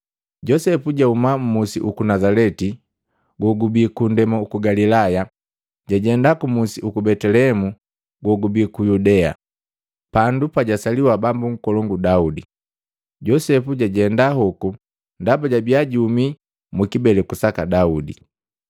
Josepu jahuma mmusi uku Nazaleti gogubi kunndema juku Galilaya, jajenda kumusi uku Betelehemu gogubi ku Yudea, pandu pajasaliwa bambu nkolongu Daudi. Josepu jajenda hoku ndaba jabia juhumi mukibeleku saka Daudi.